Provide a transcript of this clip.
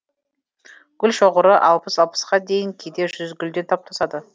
гүл шоғыры алпыс алпысқа дейін кейде жүз гүлден топтасады